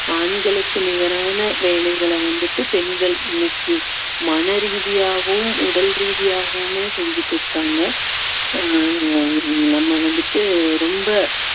ஆண்களுக்கு நிகரான வேலைகளை வந்துட்டு பெண்கள் இன்னைக்கு மனரீதியாகவும் உடல் ரீதியாகவுமே செஞ்சுட்டு இருக்காங்க ஆஹ் நம்ம வந்துட்டு ரொம்ப